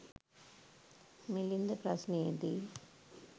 මිළින්ද ප්‍රශ්නයේ දී